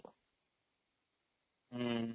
ହୁଁ